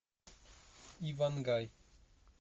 ивангай